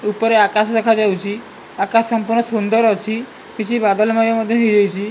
ଉପରେ ଆକାଶ ଦେଖାଯାଉଛି ଆକାଶ ସମ୍ପୁର୍ଣ୍ଣ ସୁନ୍ଦର ଅଛି କିଛି ବାଦଲ ମୟ ମଧ୍ଯ ହେଇଯାଇଛି।